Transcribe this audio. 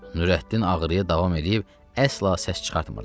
Nurəddin ağrıya davam eləyib əsla səs çıxartmırdı.